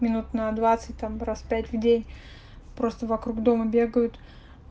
минут на двадцать там раз пять в день просто вокруг дома бегают